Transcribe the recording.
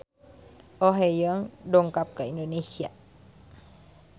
Oh Ha Young dongkap ka Indonesia